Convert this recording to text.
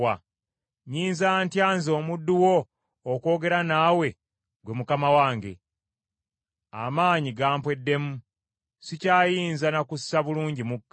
Nnyinza ntya nze omuddu wo okwogera naawe ggwe mukama wange? Amaanyi gampweddemu, sikyayinza na kussa bulungi mukka.”